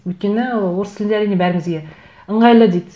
өйткені орыс тілінде әрине бәрімізге ыңғайлы дейді